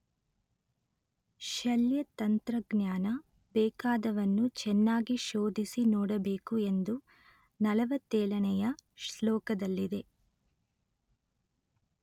ಶಲ್ಯತಂತ್ರಜ್ಞಾನ ಬೇಕಾದವನು ಚೆನ್ನಾಗಿ ಶೋಧಿಸಿ ನೋಡಬೇಕು ಎಂದು ನಲವತ್ತೇಳನೆಯ ಶ್ಲೋಕದಲ್ಲಿದೆ